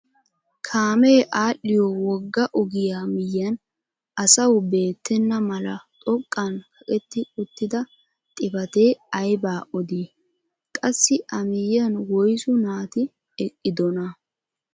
Kaamee adhiyo wogga ogiyaa miyiyaan asawu beettana mala xoqqan kaqetti uttida xifatee aybaa odii? qassi a miyiyaan woysu naati eqqidonaa?